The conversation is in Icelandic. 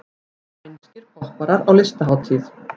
Spænskir popparar á listahátíð